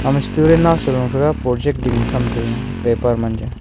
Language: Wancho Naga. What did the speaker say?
student nawsam luya project ding tham tai ga paper .